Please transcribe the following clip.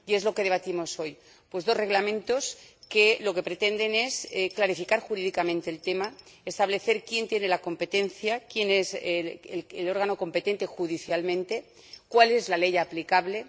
Y es lo que debatimos hoy dos Reglamentos que pretenden clarificar jurídicamente el tema, establecer quién tiene la competencia, quién es el órgano competente judicialmente, cuál es la ley aplicable.